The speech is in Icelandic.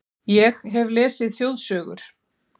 Ég hef lesið þjóðsögur